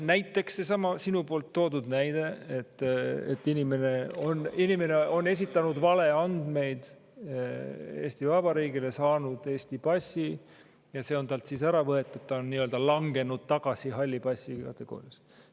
Näiteks seesama sinu toodud näide, et inimene on esitanud valeandmeid Eesti Vabariigile, saanud Eesti passi ja see on talt ära võetud, ta on langenud tagasi halli passi kategooriasse.